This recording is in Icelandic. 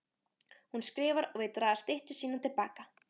Hún skrifar og vill draga styttu sína til baka.